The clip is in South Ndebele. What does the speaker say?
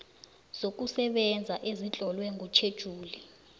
zokusebenza ezitlolwe kutjhejuli